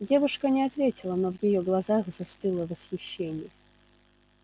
девушка не ответила но в её глазах застыло восхищение